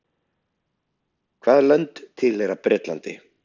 hvaða lönd tilheyra bretlandi